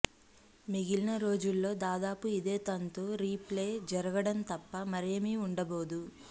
మిగిలిన రోజుల్లో దాదాపు ఇదే తంతు రీ ప్లే జరగడం తప్ప మరేమీ ఉండబోదు